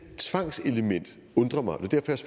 tvang undrer mig og det